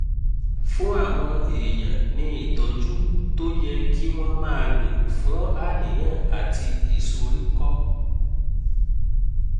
fún àwọn èèyàn ní ìtọ́jú tó yẹ kí wọ́n máa lò fún àníyàn àti ìsoríkọ́